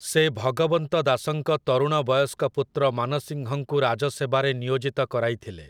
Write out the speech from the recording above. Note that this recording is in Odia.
ସେ ଭଗବନ୍ତ ଦାସଙ୍କ ତରୁଣବୟସ୍କ ପୁତ୍ର ମାନସିଂହଙ୍କୁ ରାଜସେବାରେ ନିୟୋଜିତ କରାଇଥିଲେ ।